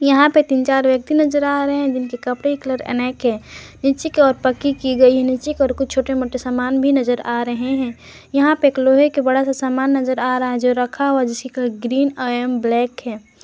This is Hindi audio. यहां पे तीन चार व्यक्ति नजर आ रहे हैं जिनके कपड़े के कलर अनेक है नीचे की ओर पक्की की गई नीचे कर को छोटे मोटे सामान भी नजर आ रहे हैं यहां पे एक लोहे के बड़ा सा सामान नजर आ रहा है जो रखा हुआ जिसकी ग्रीन एवं ब्लैक है।